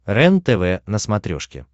рентв на смотрешке